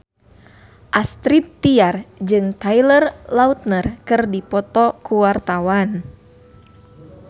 Astrid Tiar jeung Taylor Lautner keur dipoto ku wartawan